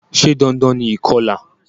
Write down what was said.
Se dandan ni ìkolà?